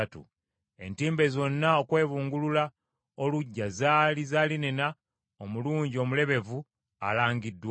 Entimbe zonna okwebungulula oluggya zaali za linena omulungi omulebevu alangiddwa.